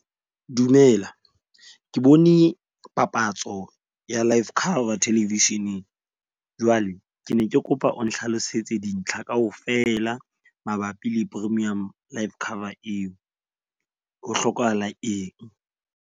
Dumela ke bone papatso ya life cover television-eng. Jwale ke ne ke kopa o nhlalosetse dintlha kaofela mabapi le premium life cover eo. Ho hlokahala eng?